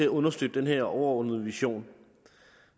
understøtte den her overordnede vision